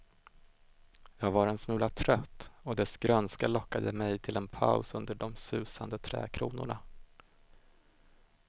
Jag var en smula trött och dess grönska lockade mig till en paus under de susande trädkronorna.